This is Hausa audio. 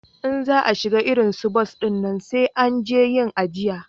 In za a shiga irin su bas dinnan sai an je yin ajiya